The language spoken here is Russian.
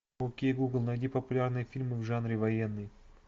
окей гугл найди популярные фильмы в жанре военный